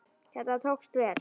Þetta tókst vel.